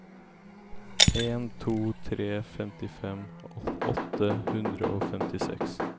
en tre to tre femtifem åtte hundre og femtiseks